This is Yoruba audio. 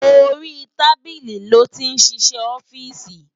Óri tábili lòti n sisè òfìsí